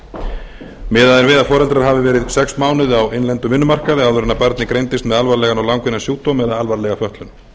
fötlun miðað er við að foreldrar ahfiv ári sex mánuði á innlendum vinnumarkaði áður en barnið greindist með alvarlegan og langvinnan sjúkdóm eða alvarlega fötlun